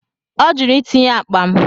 Ọ jụrụ itinye akpa m.